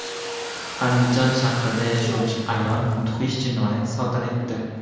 Andijon shahrida yashovchi ayol mudhish jinoyat sodir etdi.